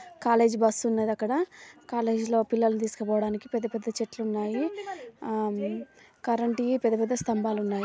College bus ఉన్నది. అక్కడ college college లోపల పిల్లలని తీసుకుపోవడానికి .పెద్ద పెద్ద చెట్లు ఉన్నాయి. కరెంట్ వి పెద్ద పెద్ద స్థంభాలు ఉన్నాయి.